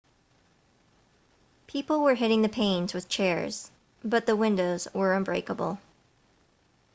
people were hitting the panes with chairs but the windows were unbreakable